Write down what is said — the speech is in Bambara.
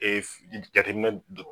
jateminɛ do